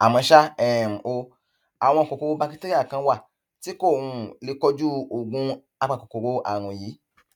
àmọ ṣá um o àwọn kòkòrò bakitéríà kan wà tí kò um lè kojú oògùn apakòkòrò àrùn yìí